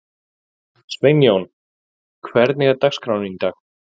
Sveinjón, hvernig er dagskráin í dag?